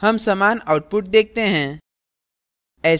हम समान output देखते हैं